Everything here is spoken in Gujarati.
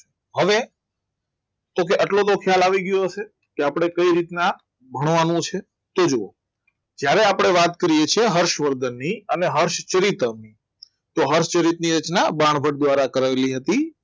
હવે તો કે આટલો તો ખ્યાલ આવી ગયો હશે કે આપણે કઈ રીતના ભણવાનું છે તો જુઓ જ્યારે આપણે વાત કરીએ છીએ હર્ષવર્ધનની અને હર્ષ ચરિત્ર તો હર્ષચરિત ની બાણભટ્ટ દ્વારા કરાવેલી હતી